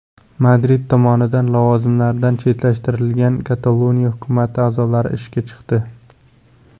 Madrid tomonidan lavozimlaridan chetlashtirilgan Kataloniya hukumati a’zolari ishga chiqdi.